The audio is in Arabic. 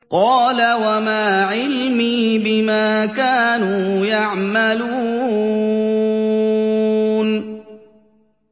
قَالَ وَمَا عِلْمِي بِمَا كَانُوا يَعْمَلُونَ